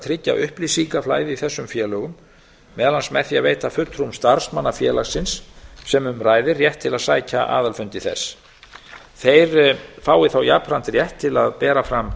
tryggja upplýsingaflæði í þessum félögum meðal annars með því að veita fulltrúum starfsmannafélagsins sem um ræðir rétt til að sækja aðalfundi þess þeir fái þá jafnframt rétt til að bera fram